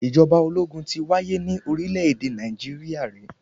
Ìjọba ológun ti wáyé ní orílẹ̀-èdè Nàìjíríà rí.